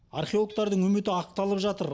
археологтардың үміті ақталып жатыр